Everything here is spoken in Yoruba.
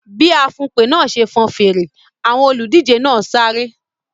Bí afùnpè náà ṣe fọn fèrè, àwọn olùdíje náà sáré.